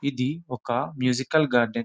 ఇది ఒక musical garden .